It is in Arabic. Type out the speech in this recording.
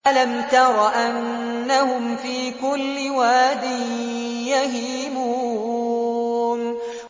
أَلَمْ تَرَ أَنَّهُمْ فِي كُلِّ وَادٍ يَهِيمُونَ